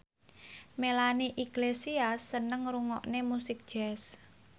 Melanie Iglesias seneng ngrungokne musik jazz